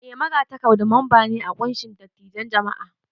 Eh, Magatakarda mamba ne a kunshin dattijan jam'a.